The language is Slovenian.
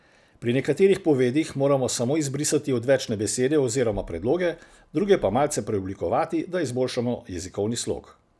Pri nekaterih povedih moramo samo izbrisati odvečne besede oziroma predloge, druge pa malce preoblikovati, da izboljšamo jezikovni slog.